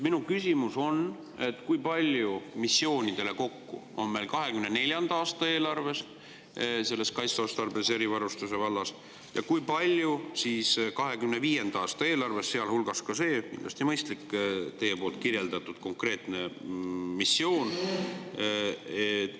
Minu küsimus: kui palju missioonidele kokku on meil 2024. aasta eelarve kaitseotstarbelise erivarustuse vallas ja kui palju on 2025. aasta eelarves, sealhulgas see – kindlasti mõistlik – teie kirjeldatud konkreetne missioon?